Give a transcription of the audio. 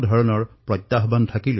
আমাৰ দেশৰ প্ৰত্যাহ্বানো অধিক